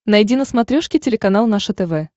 найди на смотрешке телеканал наше тв